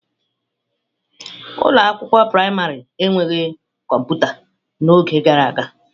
Ụlọ akwụkwọ praịmarị enweghị kọmputa n'oge gara aga.